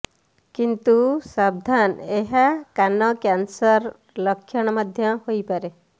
କିନ୍ତୁ ସାବଧାନ୍ ଏହା କାନ କ୍ୟାନସର୍ର ଲକ୍ଷଣ ମଧ୍ୟ ହୋଇପାରେ